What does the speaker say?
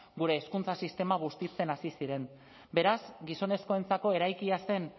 gure hezkuntza sistema bustitzen hasi ziren beraz gizonezkoentzako eraikia zen